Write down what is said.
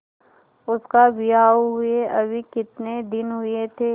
उसका विवाह हुए अभी कितने दिन हुए थे